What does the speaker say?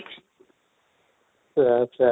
ତ ଆଚ୍ଛା